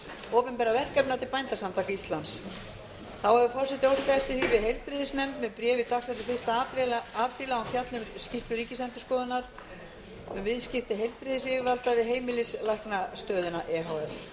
opinberra verkefna til bændasamtaka íslands þá hefur forseti óskað eftir því við heilbrigðisnefnd með bréfi dagsettu fyrsta apríl að hún fjalli um skýrslu ríkisendurskoðunar um viðskipti heilbrigðisyfirvalda við heimilislæknastöðina e h f forseti hefur enn fremur